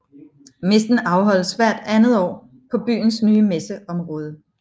Messen afholdes hvert andet år på byens nye messeområde